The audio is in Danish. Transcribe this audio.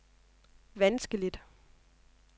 vanskeligt